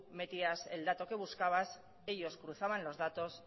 metías el dato que buscabas ellos cruzaban los datos